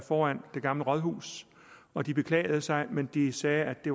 foran det gamle rådhus og de beklagede sig men de sagde at de